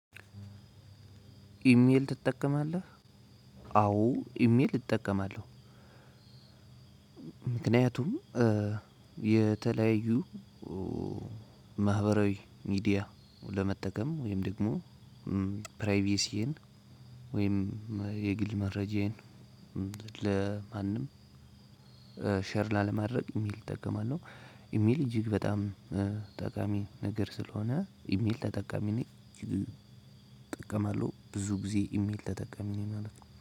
ኢሜል ትጠቀማለህ? አዎ ኢሜል እጠቀማለሁ። ምክንያቱም የተለያዩ ማህበራዊ ሚዲያ ለመጠቀም ወይም ደግሞ ፕራይቬሲን ወይም የግል መረጃዬን ለማንም ሼር ላለማድረግ ኢሜል እጠቀማለሁ። ኢሜል እጅግ በጣም ጠቃሚ ነገር ስለሆነ ኢሜል ተጠቃሚ ነኝ። እጅግ እጠቀማለሁ ብዙ ጊዜ ኢሜል ተጠቃሚ ነኝ ማለት ነው